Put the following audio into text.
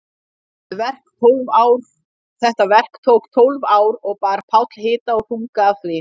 Þetta verk tók tólf ár og bar Páll hita og þunga af því.